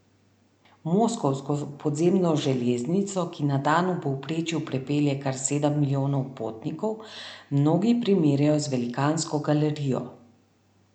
Moskovsko podzemno železnico, ki na dan v povprečju prepelje kar sedem milijonov potnikov, mnogi primerjajo z velikansko galerijo.